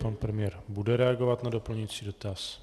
Pan premiér bude reagovat na doplňující dotaz.